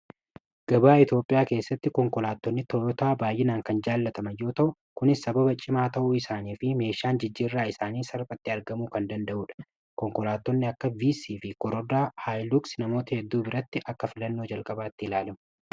gabaa eetioophiyaa keessatti konkolaatonni toyotaa baay'inaan kan jaallatamayyoo ta'u kunis sababa cimaa ta'uu isaanii fi meeshaan jijjiirraa isaanii sarphatti argamu kan danda'uudha konkolaattonni akka vc fi korodaa haayluuks namoota hedduu biratti akka filannoo jalqabaatti ilaalemu